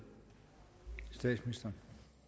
det